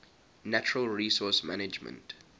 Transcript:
natural resource management